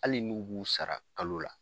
Hali n'u b'u sara kalo la.